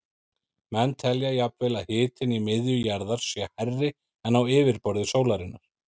Menn telja jafnvel að hitinn í miðju jarðar sé hærri en á yfirborði sólarinnar.